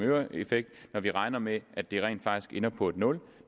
øre effekt når vi regner med at den rent faktisk ender på nul